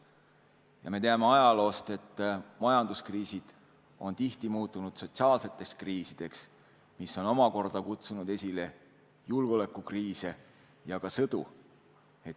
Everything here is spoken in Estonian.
Ja me teame ajaloost, et majanduskriisid on tihti muutunud sotsiaalseteks kriisideks, mis on omakorda kutsunud esile julgeolekukriise ja ka sõdu.